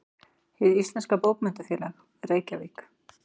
Hið íslenska bókmenntafélag: Reykjavík.